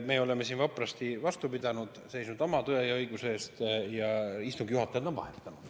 Me oleme siin vapralt vastu pidanud, seisnud oma tõe ja õiguse eest ning istungi juhataja on ka vahetunud.